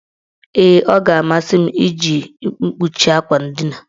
Ee, ọ ga-amasị m iji mkpuchi akwa ndina.